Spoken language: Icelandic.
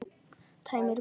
Tæmir bakið.